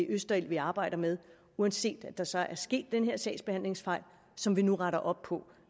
østerild vi arbejder med uanset at der så er sket den her sagsbehandlingsfejl som vi nu retter op på